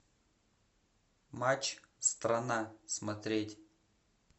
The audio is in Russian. матч страна смотреть